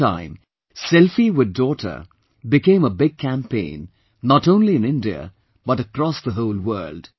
In no time, "Selfie with Daughter" became a big campaign not only in India but across the whole world